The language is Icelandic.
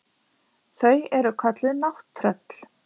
Þau eru kölluð nátttröll.